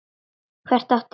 Hver átti?